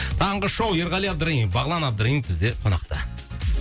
таңғы шоу ерғали абдраимов бағлан абдраимов бізде қонақта